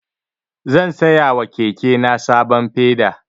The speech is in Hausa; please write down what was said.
Zan saya wa kekena sabon peda.